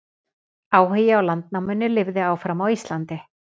Áhugi á landnáminu lifði áfram á Íslandi.